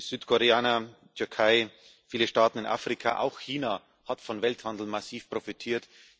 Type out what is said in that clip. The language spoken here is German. Südkorea, die Türkei, viele Staaten in Afrika, auch China haben vom Welthandel massiv profitiert